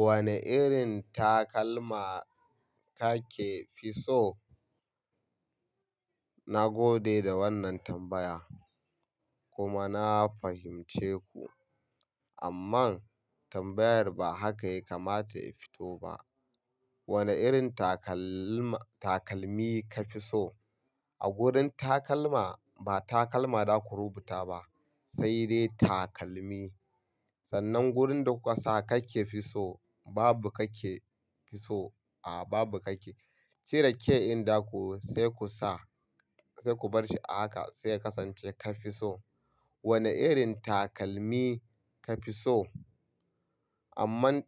Wani irin takalma kake fi so? Na gode da wannan tambaya kuma na fahimce ku. Amman tambayar ba haka ya kamata ya fito ba. Wane irin takalma-- takalmi ka fi so? A gurin takalma, ba takalma zaku rubuta ba sai dai takalmi. Sannan gurin da kuka sa kake fi so, babu kake fi so, a'a babu kake. Cire ke in zakuyi sai ku sa, sai ku bar shi a haka sai ya kasance ka fi so. Wane irin takalmi ka fi so? Amman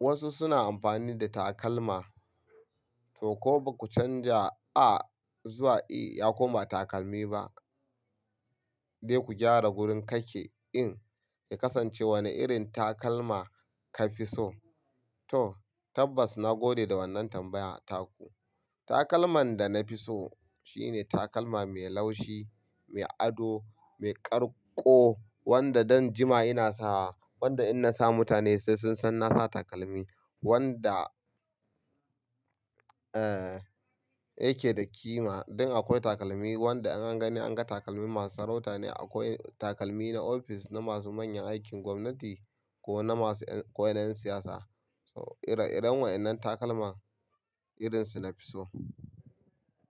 wasu suna amfani da takalma to ko baku canza a zuwa i ya koma takalmi ba. Sai ku gyara wurin kake din ya kasance wane irin takalma ka fi so. To tabbas na gode da wannan tambaya ta ku. Takalman da na fi so shine takalma mai laushi, mai ado, mai ƙarƙo wanda zan jima ina sawa. Wanda in na sa mutane sai sun san na sa takalmi. Wanda, yake da ƙima. Don akwai takalmi wanda in an gani an ga takalmin masu sarauta ne. Akwai takalmi na ofis na masu manyan aikin gwamnati ko na masu ko na 'yan siyasa. So ire-iren waɗannan takalma irin su na fi so.